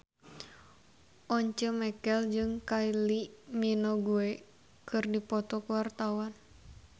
Once Mekel jeung Kylie Minogue keur dipoto ku wartawan